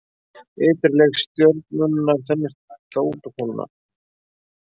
Ytri lög stjörnunnar þenjast þá út og kólna.